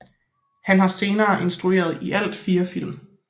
Han har senere instrueret i alt 4 film